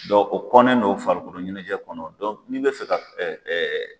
Dɔn o kɔnɛn no farikolo ɲɛnajɛ kɔnɔ n'i bɛ fɛ ka